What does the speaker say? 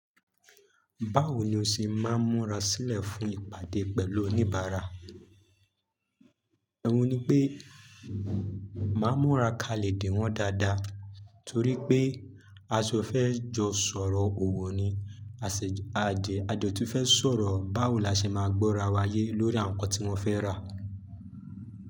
Báwo ni o ṣe máa ń múra sílẹ̀ fún ìpàdé pẹ̀lú oníbàárà? Ohùn ni pé máa ń múra kalẹ dè wọ́n dáadáa torí pé a sò fẹ́ jọ sọ̀rọ̀ òwò ni, a sẹ, a dẹ, a dẹ tún fẹ́ sọ̀rọ̀ báwo la ṣe máa gbọ́ra wa yé lórí àwọn nǹkan tí wọ́n fẹ́ rà.